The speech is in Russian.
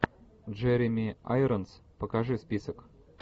джереми айронс покажи список